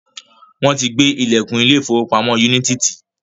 Wọ́n ti gbé ìlẹ̀kùn ilé ìfọwọ́pamo Unity ti.